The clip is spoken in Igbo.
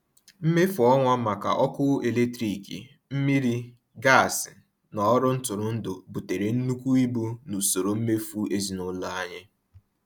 Mmefu ọnwa maka ọkụ eletrik, mmiri, gas na ọrụ ntụrụndụ butere nnukwu ibu n’usoro mmefu ezinụlọ anyị.